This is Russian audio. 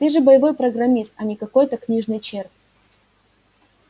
ты же боевой программист а не какой-то книжный червь